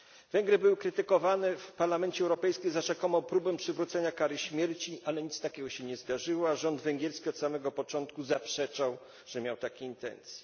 Węgry były krytykowane w Parlamencie Europejskim za rzekomą próbę przywrócenia kary śmierci, ale nic takiego się nie zdarzyło, a rząd węgierski od samego początku zaprzeczał, że miał takie intencje.